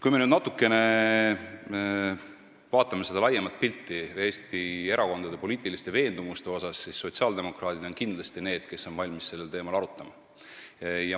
Kui me nüüd vaatame natukene laiemat pilti ja seda, millised on Eesti erakondade poliitilised veendumused, siis sotsiaaldemokraadid on kindlasti need, kes on valmis sellel teemal arutama.